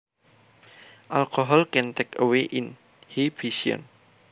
Alcohol can take away inhibition